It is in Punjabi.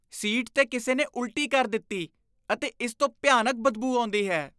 ਸੀਟ 'ਤੇ ਕਿਸੇ ਨੇ ਉਲਟੀ ਕਰ ਦਿੱਤੀ ਅਤੇ ਇਸ ਤੋਂ ਭਿਆਨਕ ਬਦਬੂ ਆਉਂਦੀ ਹੈ।